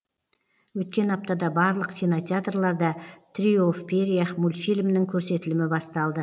өткен аптада барлық кинотеатрларда трио в перьях мультфильмінің көрсетілімі басталды